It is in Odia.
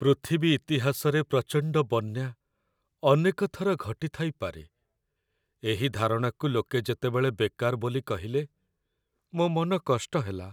ପୃଥିବୀ ଇତିହାସରେ ପ୍ରଚଣ୍ଡ ବନ୍ୟା ଅନେକ ଥର ଘଟିଥାଇପାରେ ଏହି ଧାରଣାକୁ ଲୋକେ ଯେତେବେଳେ ବେକାର ବୋଲି କହିଲେ, ମୋ ମନ କଷ୍ଟ ହେଲା।